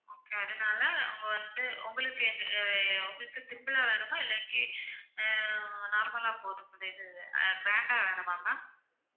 okay அதனால அவங்க வந்து உங்களுக்கு எங்க~ ஆஹ் உங்களுக்கு simple ஆ வேணுமா இல்லாட்டி ஆஹ் normal ஆ போதுமா~ இந்த இது அஹ் grand ஆ வேணுமா ma'am